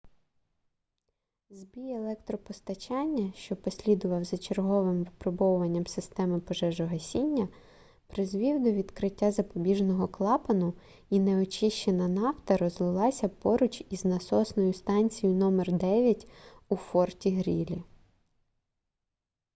збій електропостачання що послідував за черговим випробуванням системи пожежогасіння призвів до відкриття запобіжного клапану і неочищена нафта розлилася поруч із насосною станцією № 9 у форті-грілі